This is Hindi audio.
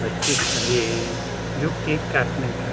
बच्चे खड़े है जो केक काटने का --